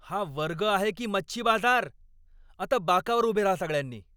हा वर्ग आहे की मच्छी बाजार? आता बाकावर उभे राहा सगळ्यांनी!